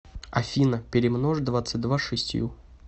афина перемножь двадцать два с шестью